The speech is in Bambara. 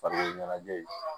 Farikolo ɲɛnajɛ ye